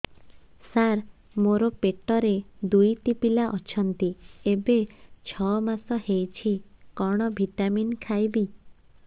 ସାର ମୋର ପେଟରେ ଦୁଇଟି ପିଲା ଅଛନ୍ତି ଏବେ ଛଅ ମାସ ହେଇଛି କଣ ଭିଟାମିନ ଖାଇବି